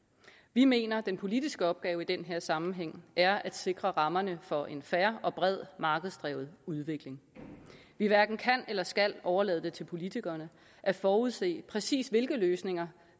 vi mener at den politiske opgave i denne sammenhæng er at sikre rammerne for en fair og bred markedsdrevet udvikling vi hverken kan eller skal overlade det til politikerne at forudse præcis hvilke løsninger